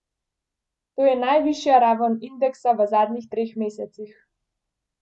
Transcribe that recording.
To je najvišja raven indeksa v zadnjih treh mesecih.